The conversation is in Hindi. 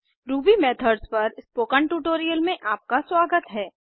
रूबी मेथड्स पर स्पोकन ट्यूटोरियल में आपका स्वागत है